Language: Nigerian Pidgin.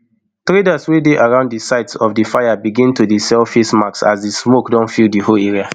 traders wey dey around di site of di fire begin to dey sell face mask as di smoke don fill di whole area